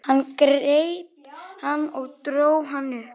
Hann greip hann og dró hann upp.